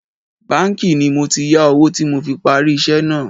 Báńkì ni mo ti yá owó tí mo fi parí iṣẹ́ náà